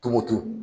Tumutu